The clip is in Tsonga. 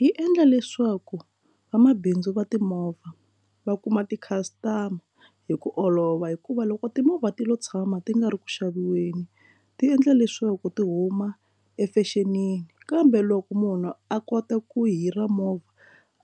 Yi endla leswaku vamabindzu va timovha va kuma ti customer hi ku olova hikuva loko timovha ti lo tshama ti nga ri ku xaviweni ti endla leswaku ti huma efexenini kambe loko munhu a kota ku hira movha